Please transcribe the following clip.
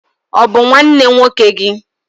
Ọ bụ nwanne nwoke gị?